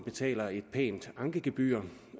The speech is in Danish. betaler et pænt ankegebyr